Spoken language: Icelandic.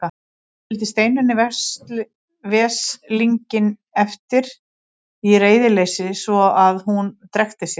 Skildi Steinunni veslinginn eftir í reiðileysi svo að hún drekkti sér.